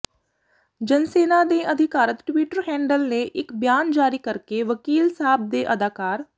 ਜਨਸੈਨਾ ਦੇ ਅਧਿਕਾਰਤ Twitter handle ਨੇ ਇਕ ਬਿਆਨ ਜਾਰੀ ਕਰਕੇ ਵਕੀਲ ਸਾਬ ਦੇ ਅਦਾਕਾਰ